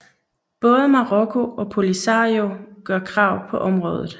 Både Marokko og Polisario gør krav på området